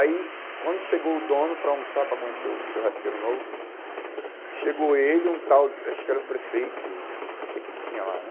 Aí, quando chegou o dono para almoçar, para conhecer o churrasqueiro novo, chegou ele, um tal, acho que era prefeito, não sei o que que tinha lá, né?